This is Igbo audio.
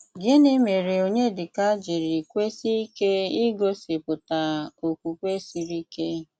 Gịnị́ mére Ọnyédíkà jírí kwesíe ike i gosi pụta ókwùkwé sírí íké?